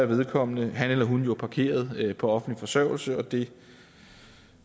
vedkommende han eller hun jo parkeret på offentlig forsørgelse og det